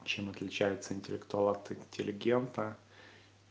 чем отличается интеллектуалов интеллигента